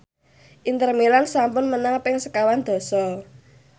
Inter Milan sampun menang ping sekawan dasa